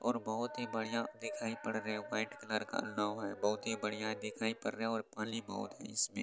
और बहोत ही बढ़िया दिखाई पड़ रहा है वाइट कलर का नाव है बहोत ही बढ़िया दिखाई पड़ रहा है और पानी बहोत है इसमें।